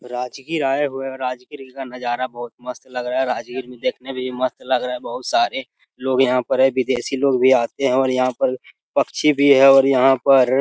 राजगीर आए हुए है राजगीर का नजारा बहोत मस्त लग रहा है राजगीर भी देखने भी मस्त लग रहा है बहोत सारे लोग यहाँ पर है विदेशी लोग भी आते हैं और यहाँ पर पक्षी भी है और यहाँ पर --